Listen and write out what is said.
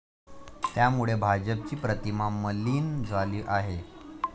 त्यामुळे भाजपची प्रतिमा मलीन झाली आहे.